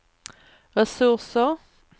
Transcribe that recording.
resurser